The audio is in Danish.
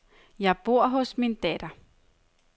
Jeg bor hos min datter.